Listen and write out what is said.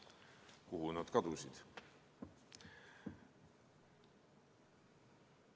Kuhu nad kadusid?